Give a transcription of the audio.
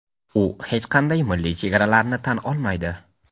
u hech qanday milliy chegaralarni tan olmaydi.